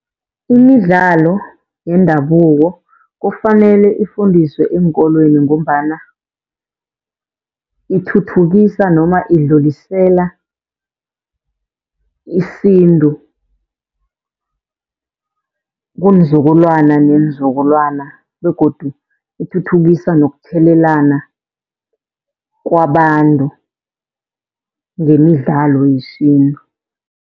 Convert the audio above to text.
Imidlalo yendabuko kufanele ifundiswe eenkolweni, ngombana ithuthukisa noma idlulisela isintu kunzukulwana neenzukulwana begodu ithuthukisa nokuthelelana kwabantu ngemidlalo yesintu.